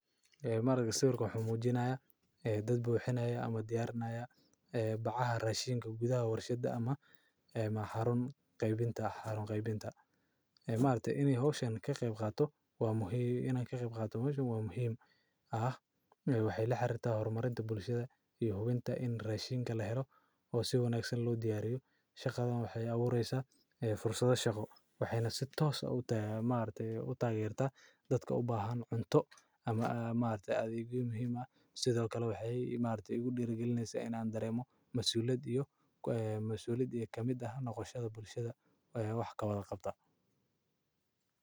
Sawirkan wuxuu mujinayaa ee dad buxinaya ama diyarinaya ee bacaha rashinka gudhaha warshaada ama xarun qebinta ee maaragtee in ee hoshan ka qeb qadato meshan waa muhiim ah, waxee la xarirta hormarinta bushaada in rashinka lahelo oo si wanagsan lo diyariyo shaqadhan waxee abureysa fursadho shaqo waxena si tos ah maragte utagerta dadka ubahan cunto ama maragte adhegyo muhiim ah sithokale maragte waxee udira galineysa in an daremo masuliyaad ee kamiid ah noqoshada bulshaada ee wax kawala qabta.